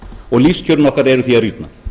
og lífskjörin okkar eru því að rýrna